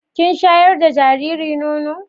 Kin shayar da jariri nono.